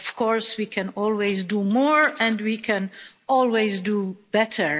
Of course, we can always do more and we can always do better.